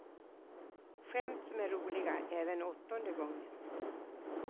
Skämt som är roliga även åttonde gången.